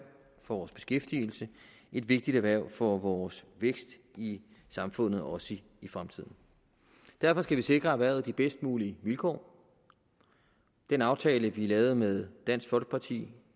for vores beskæftigelse et vigtigt erhverv for vores vækst i samfundet også i fremtiden derfor skal vi sikre erhvervet de bedst mulige vilkår den aftale vi lavede med dansk folkeparti